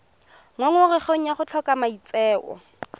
ngongorego ya go tlhoka maitseo